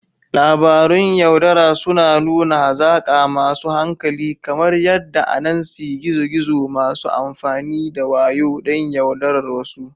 Labarun yaudara suna nuna hazaka masu hankali, kamar yadda Anansi gizo-gizo, masu amfani da wayo don yaudarar wasu.